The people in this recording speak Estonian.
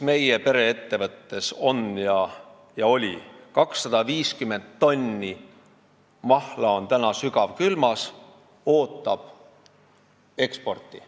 Meie pereettevõttes on praegu 250 tonni mahla sügavkülmas ja ootab eksporti.